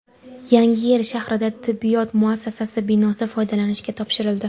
Yangiyer shahrida tibbiyot muassasasi binosi foydalanishga topshirildi.